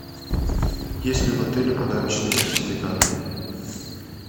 есть ли в отеле подарочные сертификаты